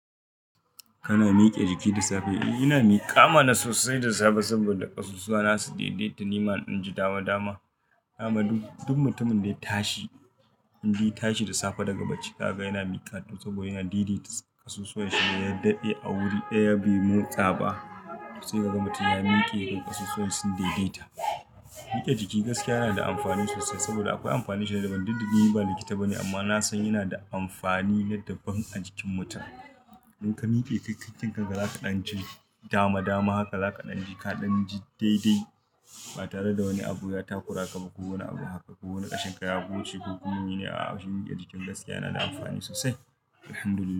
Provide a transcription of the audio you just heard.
Kana mike jiki da safe? E, ina miƙa mana sosai da safe saboda ƙasusuwa na su daidaita ni ma in ji dama dama. Amma duk, duk mutumin da ya tashi in dai tashi da safe daga bacci zaga yana miƙa saboda yana daidaita ƙasusuwanshi. Yadaɗe a wuri ɗaya bai motsa ba sai ka ga mutum ta ya mike kai ƙasusuwanshi su daidaita. Mike jiki gaskiya yana da amfani sosai saboda akwai amfaninsu da ban duk duk ni ba likit bane amma na san yana da amfani naɗaɓan a jikin mutum. In ka mike kai kanka zaka ƙadan ji dama dama haka za ka ƙadan ji kaɗan ji daidai ba tare da wani abu ya takura ka ba kowane abu haka. Ko wani ƙashin ka ya goce ko kuma shi miƙe jiki gaskiya yana da amfani sosai. Alhamdulillah.